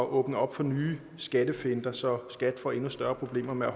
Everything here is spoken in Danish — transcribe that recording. åbne op for nye skattefinter så skat får endnu større problemer med at